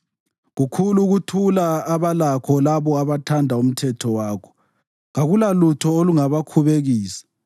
Kukhulu ukuthula abalakho labo abathanda umthetho wakho, kakulalutho olungabakhubekisa.